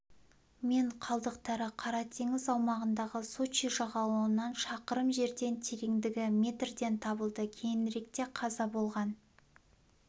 мен қалдықтары қара теңіз аумағындағы сочи жағалауынан шақырым жерден тереңдігі метрден табылды кейініректе қаза болған